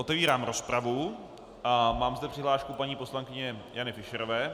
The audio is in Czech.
Otevírám rozpravu a mám zde přihlášku paní poslankyně Jany Fischerové.